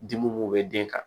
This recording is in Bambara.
Dimi b'u bɛ den kan